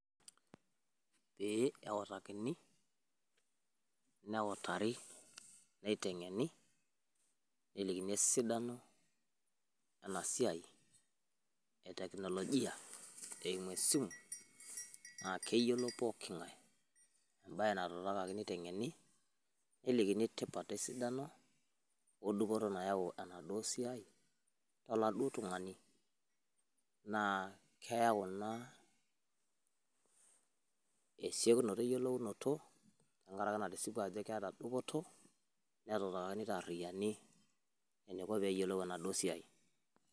ee kautakini, neutari neitengeni, nelikini esidano ena siai e teknologia eimu esimu. naa keyiolou pooki ng'ae ebae natuutakaki, neitengeni, nelikini tipat edupoto nayau ena siai. oladuo tung'ani naa keyau ina esiokinoto we yiolunto tenkaraki natisipua ajo keeta dupoto. netuutakaki nelikini dupoto enaduoo siai.